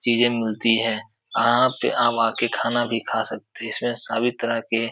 चीजें मिलती हैं। आप आम आके खाना भी खा सकते। इसमें सभी तरह के --